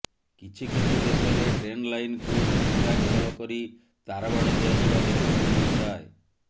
କିଛି କିଛି ଦେଶରେ ଟ୍ରେନ୍ ଲାଇନ୍କୁ ନିଷିଦ୍ଧାଞ୍ଚଳ କରି ତାରବାଡ଼ ଦିଆଯିବା ଦେଖିବାକୁ ମିଳିଥାଏ